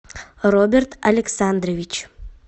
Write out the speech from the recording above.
роберт александрович